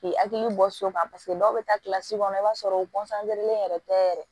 K'i hakili bɔ so kan paseke dɔw bɛ taa kilasi kɔnɔ i b'a sɔrɔ u len yɛrɛ tɛ yɛrɛ